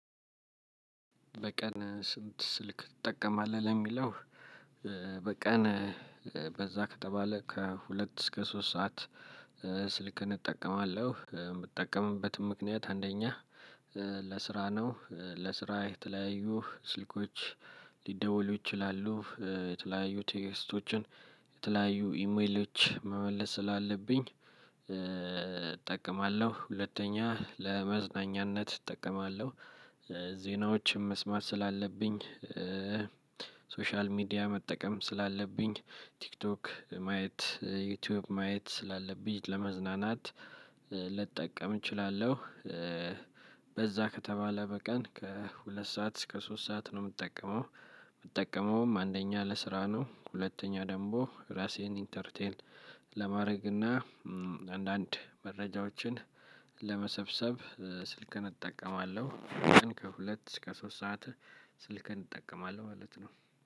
በቀን ስንት ስልክ ትጠቀማለህ ለሚለው በቀን በዛ ከተባለ ከሁለት እስከ ሶስት ሰዓት ስልክን እጠቀማለሁ። የምጠቀምበትም ምክንያት አንደኛ ለስራ ነው። ለስራ የተለያዩ ስልኮች ሊደወሉ ይችላሉ፣ የተለያዩ ቴክስቶችን፣ የተለያዩ ኢሜሎች መመለስ ስላለብኝ እጠቀማለሁ። ሁለተኛ ለመዝናኛነት እጠቀማለሁ። ዜናዎችም መስማት ስላለብኝ ሶሻል ሚዲያ መጠቀም ስላለብኝ፣ ቲክቶክ ማየት፣ ዩቲዩብ ማየት ስላለብኝ፣ ለመዝናናት ልጠቀም እችላለሁ። በዛ ከተባለ በቀን ከሁለት ሰዓት እስከ ሶስት ሰዓት ነው የምትጠቀመው። የምትጠቀመውም አንደኛ ለስራ ነው። ሁለተኛ ደግሞ እራሴን ኢንተርቴን ለማድረግ እና አንዳንድ መረጃዎችን ለመሰብሰብ ስልክን እጠቀማለሁ። ግን ከሁለት እስከ ሶስት ሰዓት ስልኬን እጠቀማለሁ ማለት ነው።